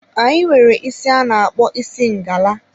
Anyị nwere isi a na-akpọ isi ngala.